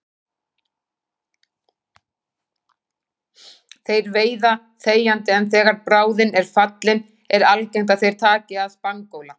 Þeir veiða þegjandi en þegar bráðin er fallin er algengt að þeir taki að spangóla.